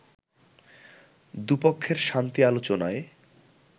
দুপক্ষের শান্তি আলোচনায়